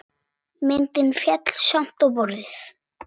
Myndin féll samt á borðið.